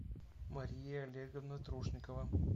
мария олеговна трушникова